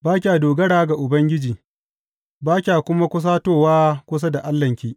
Ba kya dogara ga Ubangiji, ba kya kuma kusatowa kusa da Allahnki.